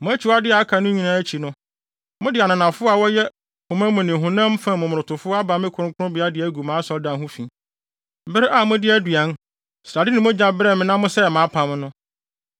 Mo akyiwadeyɛ a aka no nyinaa akyi no, mode ananafo a wɔyɛ koma mu ne honam fam momonotofo aba me kronkronbea de agu mʼasɔredan ho fi, bere a mode aduan, srade ne mogya brɛɛ me na mosɛee mʼapam no.